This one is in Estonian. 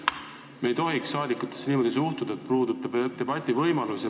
Me ei tohiks saadikutesse niimoodi suhtuda, et puudub debativõimalus.